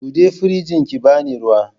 Buɗe firinjin ki bani ruwa